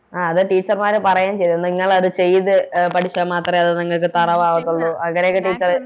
ആ അത് Teacher മാര് പറയേം ചെയ്തു നിങ്ങളത് ചെയ്ത എ പഠിച്ച മാത്രേ അത് നിങ്ങക്ക് Thorough അകത്തൊള്ളൂ അങ്ങനെയൊക്കെ Teacher